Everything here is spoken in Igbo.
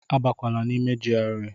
Abakwala n'ime GRA!